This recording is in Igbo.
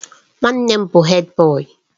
Nwannem bu Hèdbọyi.